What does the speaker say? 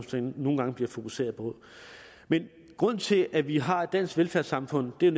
nogle gange bliver fokuseret på men grunden til at vi har et dansk velfærdssamfund er